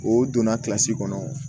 O donna kilasi kɔnɔ